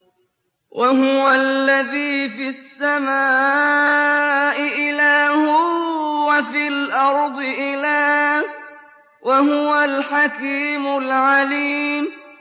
وَهُوَ الَّذِي فِي السَّمَاءِ إِلَٰهٌ وَفِي الْأَرْضِ إِلَٰهٌ ۚ وَهُوَ الْحَكِيمُ الْعَلِيمُ